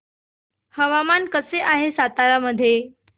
हवामान कसे आहे सातारा मध्ये